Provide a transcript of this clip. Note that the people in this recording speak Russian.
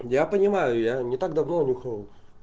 я понимаю я не так давно нюхнул